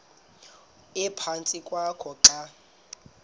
ephantsi kwakho xa